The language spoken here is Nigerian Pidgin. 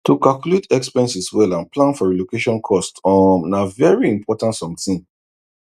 to calculate expenses well and plan for relocation cost um na very important something